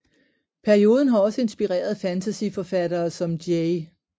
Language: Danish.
Perioden har også inspireret fantasyforfattere som J